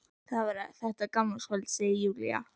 Það var þetta gamlárskvöld, segir Júlía.